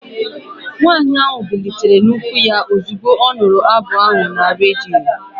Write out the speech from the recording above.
Nwanyị ahụ bilitere n'ụkwụ ya ozugbo ọ nụrụ abụ ahụ na redio